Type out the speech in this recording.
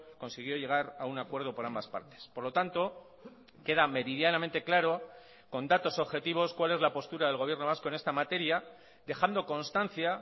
consiguió llegar a un acuerdo por ambas partes por lo tanto queda meridianamente claro con datos objetivos cuál es la postura del gobierno vasco en esta materia dejando constancia